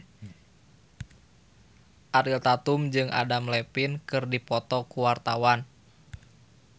Ariel Tatum jeung Adam Levine keur dipoto ku wartawan